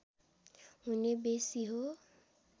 हुने बेँसी हो